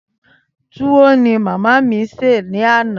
Túwó ni màmá mi sè ní àná.